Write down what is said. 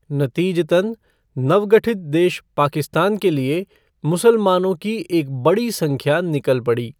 नतीजतन, नवगठित देश पाकिस्तान के लिए मुसलमानों की एक बड़ी संख्या निकल पड़ी।